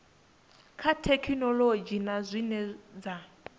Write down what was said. dza thekhinolodzhi na zwine dza